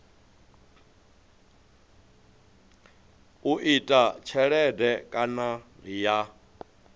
u ita tshelede kana ya